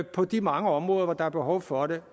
på de mange områder hvor der er behov for det